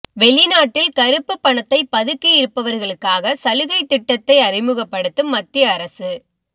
வெளிநாட்டில் கருப்பு பணத்தை பதுக்கியிருப்பவர்களுக்காக சலுகை திட்டத்தை அறிமுகப்படுத்தும் மத்திய அரசு